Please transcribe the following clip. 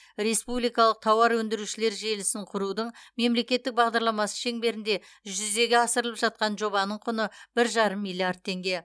республикалық тауар өндірушілер желісін құрудың мемлекеттік бағдарламасы шеңберінде жүзеге асырылып жатқан жобаның құны бір жарым миллиард теңге